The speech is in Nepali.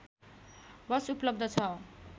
बस उपलब्ध छ